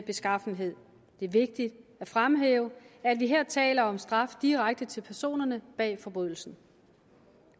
beskaffenhed det er vigtigt at fremhæve at vi her taler om straf direkte til personerne bag forbrydelsen